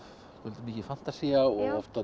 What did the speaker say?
mikið fantasía og oft